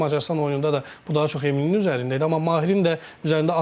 İndi Macarıstan oyununda da bu daha çox Eminin üzərində idi, amma Mahirin də üzərində az təzyiq yox idi.